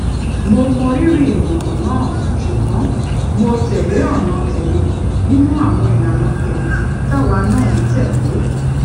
mo mọrírì ìmòràn náà ṣùgbón mo tè lé ònà tèmi nínú àwọn ìlànà tèmí táwa náà ń tè lé